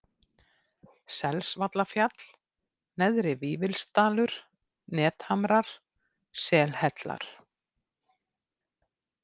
Selsvallafjall, Neðri-Vífilsdalur, Nethamrar, Selhellar